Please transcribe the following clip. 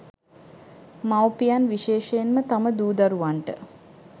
මව්පියන් විශේෂයෙන්ම තම දූ දරුවන්ට